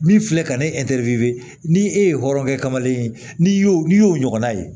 Min filɛ ka na ne ni e ye hɔrɔnkɛ kamalen ye n'i y'o n'i y'o ɲɔgɔnna ye